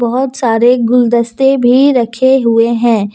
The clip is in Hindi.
बहोत सारे गुलदस्ते भी रखे हुए हैं।